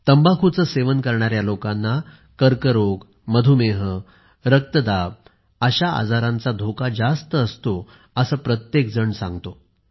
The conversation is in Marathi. तंबाखूचे सेवन करणाऱ्या लोकांना कर्करोग मधुमेह रक्तदाब अशा आजारांचा धोका जास्त असतो असे प्रत्येकजण म्हणतो